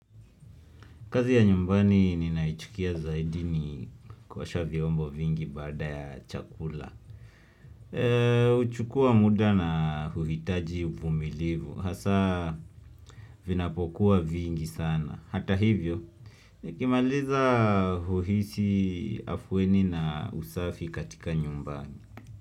Kazi ya nyumbani ninayoichukia zaidini kuosha vyombo vingi baada ya chakula. Huchukua muda na huhitaji uvumilivu. Hasa vinapokuwa vingi sana. Hata hivyo, nikimaliza huhisi afueni na usafi katika nyumbani.